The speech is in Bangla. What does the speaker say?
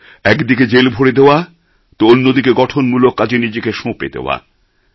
এক দিকে জেল ভরে দেওয়া তো অন্যদিকে গঠনমূলক কাজে নিজেকে সঁপে দেওয়া